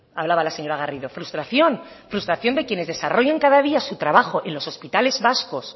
hablaba la señora garrido frustración frustración de quienes desarrollan cada día su trabajo en los hospitales vascos